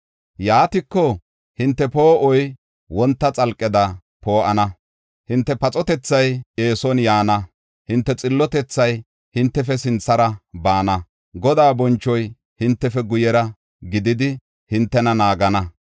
Yaatiko, hinte poo7oy wonta xalqeda poo7ana; hinte paxotethay eeson yaana. Hinte xillotethay hintefe sinthara baana; Godaa bonchoy hintefe guyera gididi, hintena naagana.